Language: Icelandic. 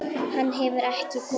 Hann hefur ekki komið.